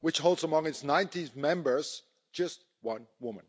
which holds among its 19 members just one woman.